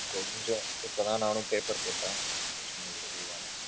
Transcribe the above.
கொஞ்சம். இப்போ தான் நானும் paper போட்டேன் just now relieve ஆனேன்.